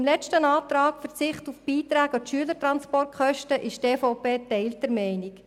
Beim letzten Antrag auf Verzicht auf die Beiträge an die Schülertransportkosten ist die EVP geteilter Meinung.